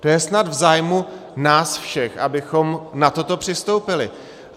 - To je snad v zájmu nás všech, abychom na toto přistoupili.